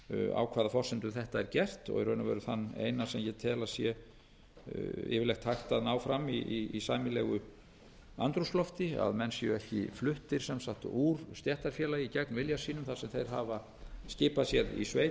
á hvaða forsendu þetta er gert og í raun og veru þann eina sem ég tel að sé yfirleitt hægt að ná fram í sæmilegu andrúmslofti að menn séu ekki fluttir sem sagt úr stéttarfélagi gegn vilja sínum þar sem þeir hafa skipað sér í sveit